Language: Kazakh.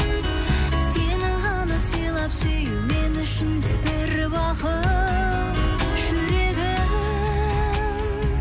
сені ғана сыйлап сүю мен үшін бір бақыт жүрегім